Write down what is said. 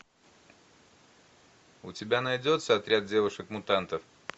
у тебя найдется отряд девушек мутантов